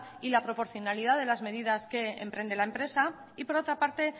y la proporcionalidad de las medidas que emprende la empresa y por otra parte